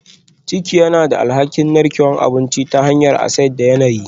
Ciki yana da alhakin narkewar abinci ta hanyar acid da yanayi